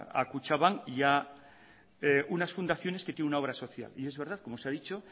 a kutxabank y a unas fundaciones que tienen una obra social y es verdad como se ha dicho